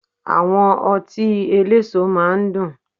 Àwọn ọtí eléso máa ń dùn